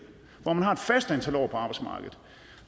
hvor man har et fast antal år på arbejdsmarkedet